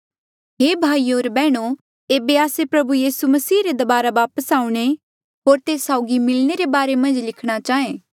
हे भाईयो होर बैहणो एेबे आस्से प्रभु यीसू मसीह रे दबारा वापस आऊणें होर तेस साउगी मिलणे रे बारे मन्झ लिखणा चाहें